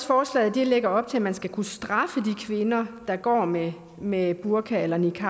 forslaget lægger op til at man skal kunne straffe de kvinder der går med med burka eller niqab